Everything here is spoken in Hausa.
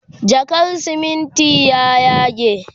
jakar simintin ya yage